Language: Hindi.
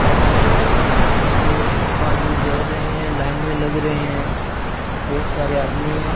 और वह पे आदमी जा रहे है लाइन में लग रहा है बहुत सारे आदमी है।